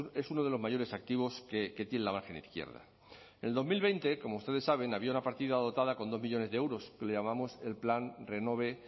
que es uno de los mayores activos que tiene la margen izquierda en el dos mil veinte como ustedes saben había una partida dotada con dos millónes de euros que le llamamos el plan renove